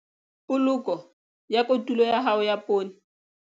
Poloko ya kotulo ya hao ya poone.